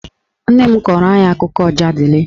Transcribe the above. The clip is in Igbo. Nne m kọọrọ anyị akụkọ Ọjadịlị